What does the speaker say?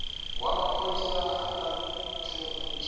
wa mapholisa a nga thuntsha